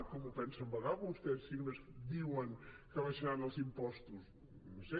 com ho pensen pagar vostès si només diuen que abaixaran els impostos no ho sé